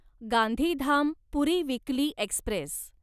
Gandhidham Puri weekly Express